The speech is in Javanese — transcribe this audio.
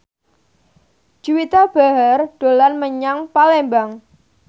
Juwita Bahar dolan menyang Palembang